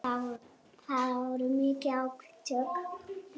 Það voru mikil átök.